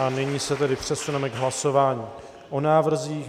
A nyní se tedy přesuneme k hlasování o návrzích.